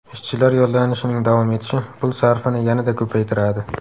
Ishchilar yollanishining davom etishi pul sarfini yanada ko‘paytiradi.